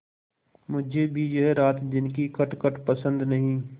मुझे भी यह रातदिन की खटखट पसंद नहीं